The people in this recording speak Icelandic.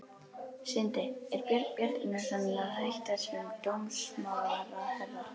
Sindri: Er Björn Bjarnason að hætta sem dómsmálaráðherra?